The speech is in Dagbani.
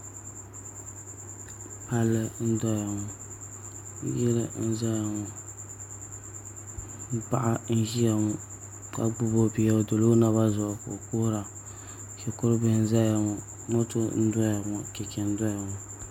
Palli n doya ŋo yili n ʒɛya ŋo paɣa n ʒiya ŋo ka gbubi o bia o dila o naba zuɣu ka o kuhura shikuru bihi n ʒɛya ŋo moto n doya ŋo chɛchɛ n ʒɛya ŋo